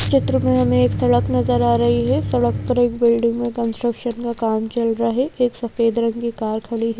चित्र में हमें एक सड़क नजर आ रही है सड़क पर एक बिल्डिंग में कंस्ट्रक्शन का काम चल रहा है एक सफेद रंग की कार खड़ी है।